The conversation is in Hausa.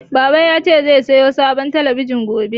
Baba ya ce zai sayo sabon talabijin gobe